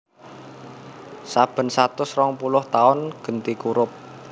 Saben satus rongpuluh taun genti kurup